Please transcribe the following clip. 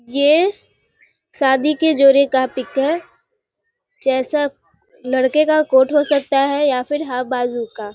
ये शादी के जोड़े का पिक है जैसा लडके का कोट हो सकता है या फिर हाफ बाजू का ।